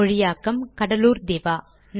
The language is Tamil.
மொழியாக்கம் கடலூர் திவா